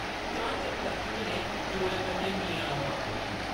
चान-चक्क लक्ष्मी ने जोरै कन्नै ‘म्याऊं’ आखेआ ।